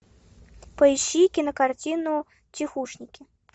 поищи кинокартину тихушники